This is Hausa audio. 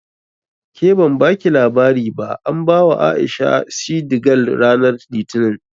Ke ban baki labari ba an bawa A'isha shidi gal ranar Litinin